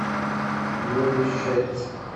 юрий шец